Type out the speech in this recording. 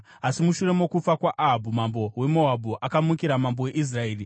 Asi mushure mokufa kwaAhabhu, mambo weMoabhu akamukira mambo weIsraeri.